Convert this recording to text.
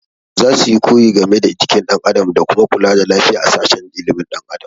Za su koyi game da jikin ɗan adam da kuma kula da lafiya a sashen ilimin ɗan adam